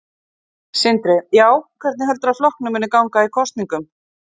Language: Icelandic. Sindri: Já, hvernig heldurðu að flokknum muni ganga í kosningum?